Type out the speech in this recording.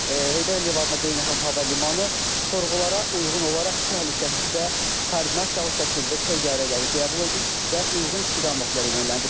Heydər Əliyev adına beynəlxalq hava limanı sorğulara uyğun olaraq təhlükəsiz və koordinasiyalı şəkildə təyyarələri qəbul edib və uyğun istiqamətlərə yönləndirib.